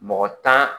Mɔgɔ tan